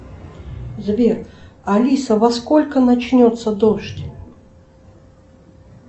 сбер алиса во сколько начнется дождь